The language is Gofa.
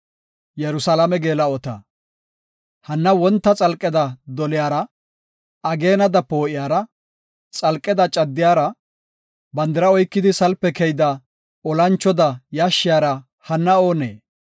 Hanna wonta xalqeda doliyara, ageenada poo7iyara, xalqeda caddiyara, bandira oykidi salpe keyida, olanchoda yashshiyara hanna oonee?